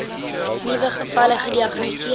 nuwe gevalle gediagnoseer